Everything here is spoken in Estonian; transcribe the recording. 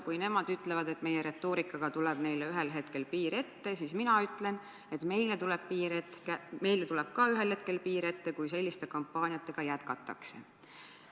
Kui nemad ütlevad, et meie retoorikaga tuleb neile ühel hetkel piir ette, siis mina ütlen, et meile tuleb ka ühel hetkel piir ette, kui selliste kampaaniatega jätkatakse.